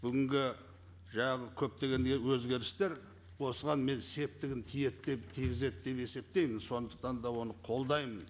бүгінгі жаңағы көптеген өзгерістер осыған мен септігін тиеді тигізеді деп есептеймін сондықтан мен оны қолдаймын